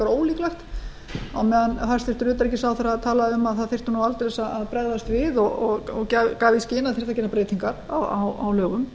ólíklegt á meðan hæstvirts utanríkisráðherra talaði um að það þyrfti nú aldeilis að bregðast við og gaf í skyn að það þyrfti að gera breytingar á lögum